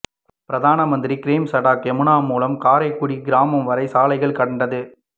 பிரதான்மந்திரி கிராம் சடக் யோஜனா மூலம் கடைக்கோடி கிராமம் வரை சாலைகள் கண்டது